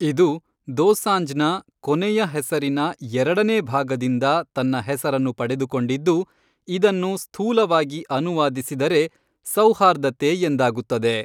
ಇದು ದೋಸಾಂಜ್ನ ಕೊನೆಯ ಹೆಸರಿನ ಎರಡನೇ ಭಾಗದಿಂದ ತನ್ನ ಹೆಸರನ್ನು ಪಡೆದುಕೊಂಡಿದ್ದು, ಇದನ್ನು ಸ್ಥೂಲವಾಗಿ ಅನುವಾದಿಸಿದರೆ "ಸೌಹಾರ್ದತೆ" ಎಂದಾಗುತ್ತದೆ.